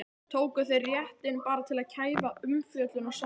Tóku þeir réttinn bara til að kæfa umfjöllun og samkeppni?